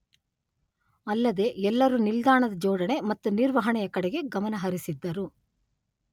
ಅಲ್ಲದೇ ಎಲ್ಲರೂ ನಿಲ್ದಾಣದ ಜೋಡಣೆ ಮತ್ತು ನಿರ್ವಹಣೆಯ ಕಡೆಗೆ ಗಮನ ಹರಿಸಿದ್ದರು.